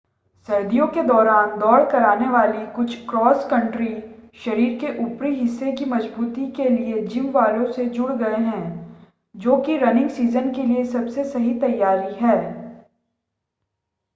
सर्दियों के दौरान दौड़ कराने वाली कुछ क्रॉस कंट्री शरीर के ऊपरी हिस्से की मज़बूती के लिए जिम वालों से जुड़ गए हैं जो कि रनिंग सीज़न के लिए सबसे सही तैयारी है